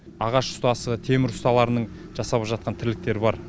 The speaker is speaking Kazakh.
ағаш ұстасы темір ұсталарының жасап жатқан тірліктері бар